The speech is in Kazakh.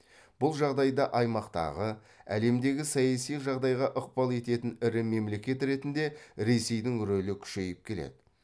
бұл жағдайда аймақтағы әлемдегі саяси жағдайға ықпал ететін ірі мемлекет ретінде ресейдің рөлі күшейіп келеді